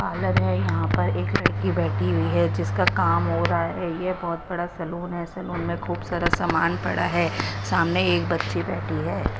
Parlour है यहां पर एक लड़की बैठी हुई है जिसका काम हो रहा है ये बहुत बड़ा सैलून है सैलून में खूब सारा सामान पड़ा है सामने एक बच्ची बैठी हैं।